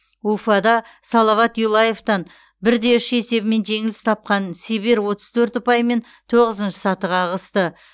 уфада салават юлаевтан бір де үш есебімен жеңіліс тапқан сибирь отыз төрт ұпаймен тоғызыншы сатыға ығысты